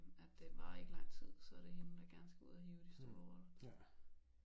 At det varer ikke lang tid så det hende der gerne skal ud og hive de store roller